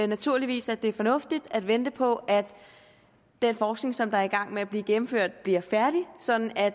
naturligvis at det er fornuftigt at vente på at den forskning som er i gang med at blive gennemført bliver færdig sådan at